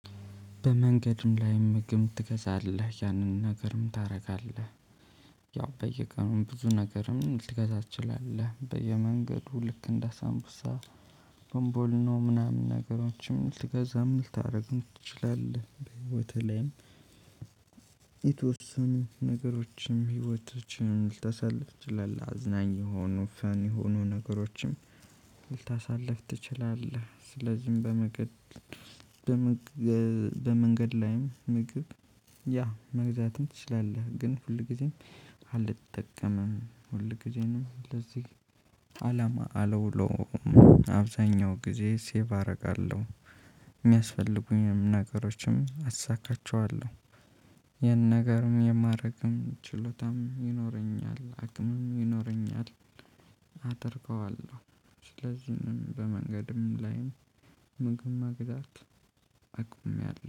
በመንገድም ላይ ምግም ትገዛለህ ያንን ነገርም ታደርጋለህ። ያው በየቀኑም ብዙ ነገርም ልትገዛ ትችላለህ በየመንገዱ ልክ እንደ ሳምቡሳ ቦምቦሊኖ ምናምን ነገሮችም ልትገዛም ልታደርግ ትችላለህ በህይወትህ ላይም። የተወሰኑ ነገሮችም ህይወታችን ልታሳልፍ ትችላል አዝናኝ የሆኑ ፈን የሆኑ ነገሮችም። ልታሳልፍ ትችላለህ ስለዚህም በመንገድ በመንገድ ላይም ምግብ ያ መግዛትም ትችላለህ። ግን ሁል ጊዜም አልጠቀምም። ጊዜንም ለዚህ አላማ አለውሎም። አብዛኛው ጊዜ ሴቭ አደርጋለሁ። እሚያስፈልጉኝም ነገሮችም አሳካቸዋለሁ። ይሄን ነገርም የማደርግም ችሎታም ይኖረኛል አቅምም ይኖረኛል። አደርገዋለሁ ስለዚህም በመንገድም ላይም ምግብ መግዛት አቁሜያለሁ